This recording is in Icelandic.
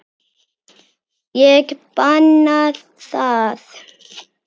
Ég banna það.